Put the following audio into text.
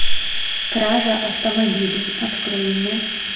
кража автомобилей открой мне